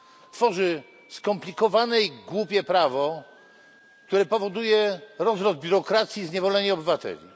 Tworzy skomplikowane i głupie prawo, które powoduje rozrost biurokracji i zniewolenie obywateli.